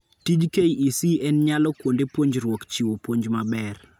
Tij KEC en nyalo kuonde puonjruok chiwo puonj maber